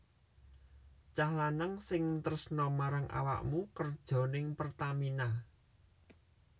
Cah lanang sing tresno marang awakmu kerjo ning Pertamina